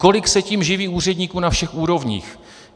Kolik se tím živí úředníků na všech úrovních?